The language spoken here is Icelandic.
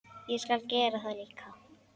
Ég skal gera það líka.